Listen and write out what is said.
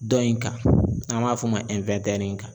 Dɔ in kan n'an m'a f'o ma